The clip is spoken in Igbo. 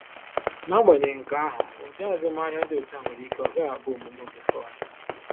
N’agbanyeghị nke ahụ, ụdị azụmahịa dị otu a nwere ike ọ gaghị abụ omume ofufe ọnụ.